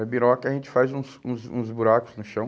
A biroca a gente faz uns uns uns buracos no chão.